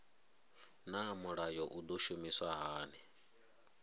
naa mulayo u do shumiswa hani